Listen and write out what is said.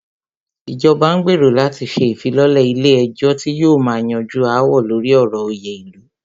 Ìjọba n gbérò láti ṣe ìfilọ́lẹ̀ ilé ẹ̀jọ́ tí yóò máà yanjú aáwọ̀ lórí ọ̀rọ̀ òyè ilu.